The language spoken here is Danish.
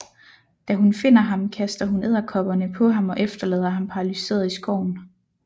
Da hun finder ham kaster hun edderkopperne på ham og efterlader ham paralyseret i skoven